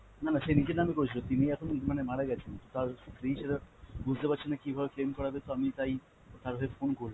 না না, সে নিজের নামে করেছিল, তিনি এখন মানে মারা গেছেন। তার স্ত্রী সেটা বুঝতে পারেছে না কীভাবে claim করাবে তো আমি তাই তার হয়ে phone করলাম।